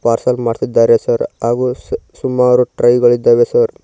Parcel ಮಾಡ್ತಿದ್ದಾರೆ sir ಹಾಗು ಸುಮಾರು ಟ್ರೈಗಳಿದ್ದಾವೆ ಸರ್ .